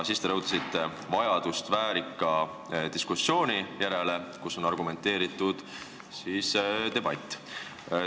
Siis te rõhutasite vajadust väärika diskussiooni järele, kus oleks argumenteeritud debatt.